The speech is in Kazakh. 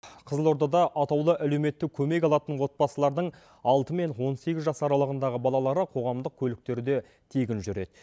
қызылордада атаулы әлеуметтік көмек алатын отбасылардың алты мен он сегіз жас аралығындағы балалары қоғамдық көліктерде тегін жүреді